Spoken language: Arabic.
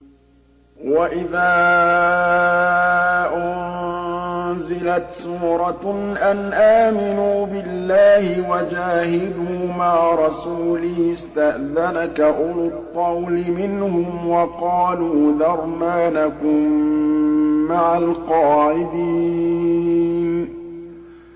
وَإِذَا أُنزِلَتْ سُورَةٌ أَنْ آمِنُوا بِاللَّهِ وَجَاهِدُوا مَعَ رَسُولِهِ اسْتَأْذَنَكَ أُولُو الطَّوْلِ مِنْهُمْ وَقَالُوا ذَرْنَا نَكُن مَّعَ الْقَاعِدِينَ